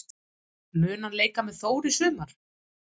Mun hann leika með Þór í sumar?